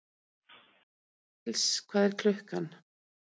Hallgils, hvað er klukkan?